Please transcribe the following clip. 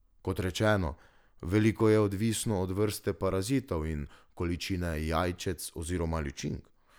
Kot rečeno, veliko je odvisno od vrste parazitov in količine jajčec oziroma ličink.